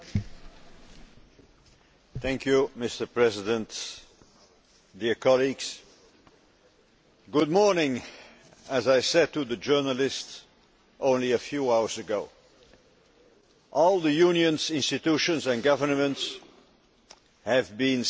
Mr President, dear colleagues, good morning, as I said to the journalist only a few hours ago. All the Union's institutions and governments have been expending significant political capital